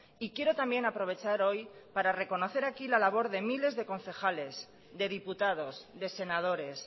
y quiero también aprovechar hoy para reconocer aquí la labor de miles de concejales de diputados de senadores